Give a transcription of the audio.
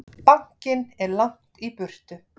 Bankinn er langt í burtu.